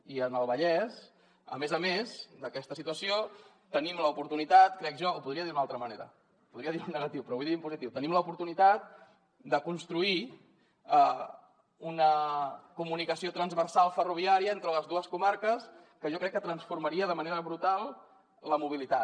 i en el vallès a més a més d’aquesta situació tenim l’oportunitat crec jo ho podria dir d’una altra manera podria dir ho en negatiu però ho vull dir en positiu de construir una comunicació transversal ferroviària entre les dues comarques que jo crec que transformaria de manera brutal la mobilitat